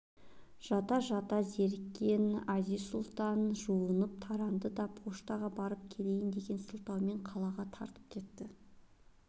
жата-жата зерккен әзиз-сұлтан жуынып-таранды да поштаға барып келейн деген сылтаумен қалаға тартып кетті